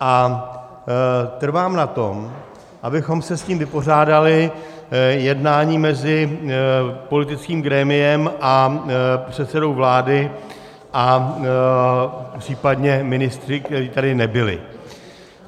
a trvám na tom, abychom se s tím vypořádali jednáním mezi politickým grémiem a předsedou vlády a případně ministry, kteří tady nebyli.